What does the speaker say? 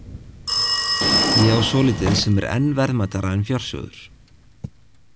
Ég á svolítið sem er enn verðmætara en fjársjóður.